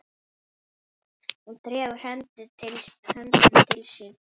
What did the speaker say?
Hún dregur höndina til sín.